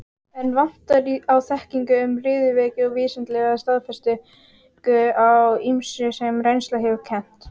Enn vantar á þekkingu um riðuveiki og vísindalega staðfestingu á ýmsu, sem reynslan hefur kennt.